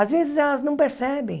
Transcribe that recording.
Às vezes, elas não percebem.